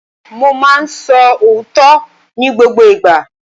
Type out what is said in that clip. Mo ma ń sọ òótọ́ ní gbogbo ìgbà.